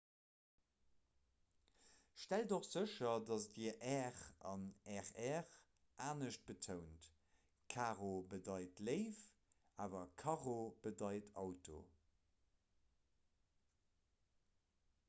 stellt och sécher dat dir 'r' an 'rr' anescht betount: 'caro' bedeit 'léif' awer 'carro' bedeit 'auto'